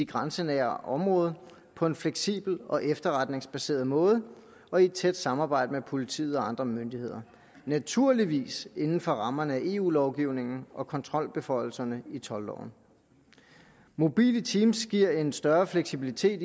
grænsenære område på en fleksibel og efterretningsbaseret måde og i et tæt samarbejde med politiet og andre myndigheder naturligvis inden for rammerne af eu lovgivningen og kontrolbeføjelserne i toldloven mobile team giver en større fleksibilitet